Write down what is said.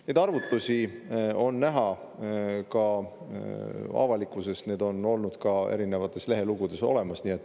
Neid arvutusi on näha ka avalikkuses, need on olnud ka erinevates lehelugudes olemas.